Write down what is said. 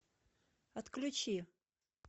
отключи